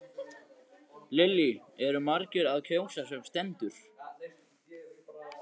Lillý eru margir að kjósa sem stendur?